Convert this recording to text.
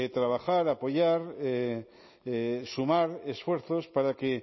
trabajar apoyar sumar esfuerzos para que